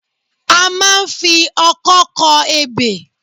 A máa ń fi ọkọ kọ ebè